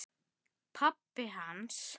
Pabbi hans?